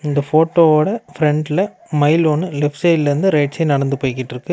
இந்த ஃபோட்டோவோட ஃபிரன்ட்ல மயில் ஒன்னு லெப்ட் சைடுல இருந்து ரைட் சைடு நடந்து போயிக்கிட்டிருக்கு.